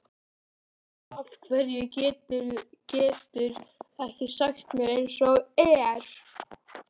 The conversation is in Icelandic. Af hverju geturðu ekki sagt mér eins og er?